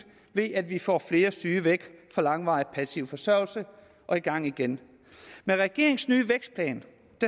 ved at vi får flere syge væk fra langvarig passiv forsørgelse og i gang igen med regeringens nye vækstplan